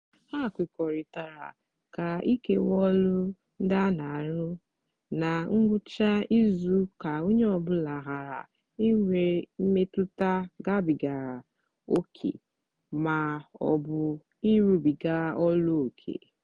ha kwekọrịtara ka ikewaa ọlụ ndị a na-arụ ná ngwụcha izu ka onye ọ bụla ghara inwe mmetụta gabigara ókè ma ọ bụ ịrụbiga ọlụ ókè.